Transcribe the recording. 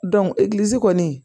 egilizi kɔni